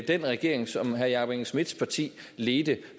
den regering som herre jakob engel schmidts parti ledte